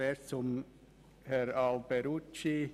Zuerst zu Grossrat Alberucci: